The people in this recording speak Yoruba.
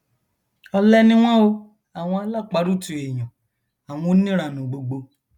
ọlẹ ni wọn o àwọn aláparùtù èèyàn àwọn oníranú gbogbo